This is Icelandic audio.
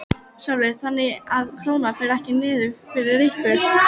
Sölvi: Þannig að Krónan fer ekki niður fyrir ykkur?